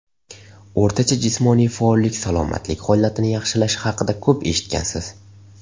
O‘rtacha jismoniy faollik salomatlik holatini yaxshilashi haqida ko‘p eshitgansiz.